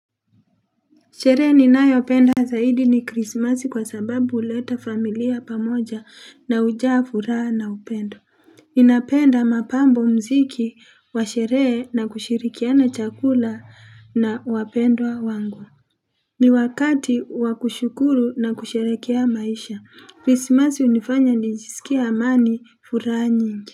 Sherehe ninayopenda zaidi ni krismasi kwa sababu huleta familia pamoja na hujaa furaha na upendo. Ninapenda mapambo mziki wa sherehe na kushirikiana chakula na wapendwa wangu. Ni wakati wakushukuru na kusherekea maisha. Krismasi unifanya nijisikie amani furaha nyingi.